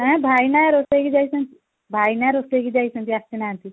ଆଁ ଭାଇନା ରୋଷେଇ କୁ ଯାଇଛନ୍ତି, ଭାଇନା ରୋଷେଇ କୁ ଯାଇଛନ୍ତି ଆସି ନାହାନ୍ତି